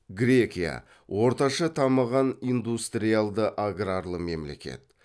грекия орташа дамыған индустриальды аграрлы мемлекет